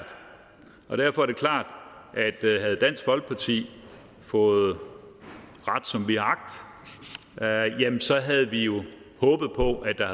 og derfor er det klart at havde dansk folkeparti fået ret som vi har agt så havde vi jo håbet på at der